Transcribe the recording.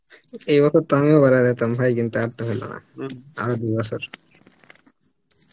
এই বছরটা আমিও বেরিয়া যেতাম ভাই কিন্তু আরতো হলো না আরো দু বছর